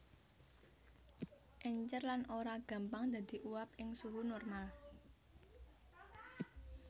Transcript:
Èncèr lan ora gampang dadi uap ing suhu normal